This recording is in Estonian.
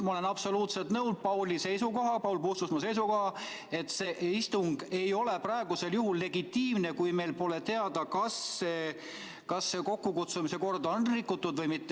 Ma olen absoluutselt nõus Paul Puustusmaa seisukohaga, et see istung ei ole praegusel juhul legitiimne, kui meil pole teada, kas selle kokkukutsumise korda on rikutud või mitte.